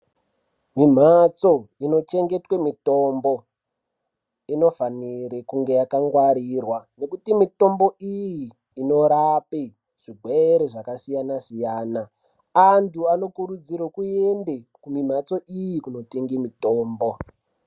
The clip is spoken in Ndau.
Mimhatso inochengetwe mitombo, inofanire kunge yakangwarirwa. Ngekuti mitombo iyi inorape zvigwere zvakasiyana-siyana. Antu anokurudzirwe kuende kumimhatso iyi, kunotenge mitombo.